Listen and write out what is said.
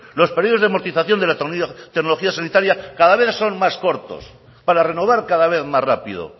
los periodos de amortización de la tecnología sanitaria cada vez son más cortos para renovar cada vez más rápido